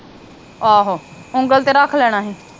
ਆਹੋ ਉਗਲ ਤੇ ਰੱਖ ਲੈਣਾ ਹੀ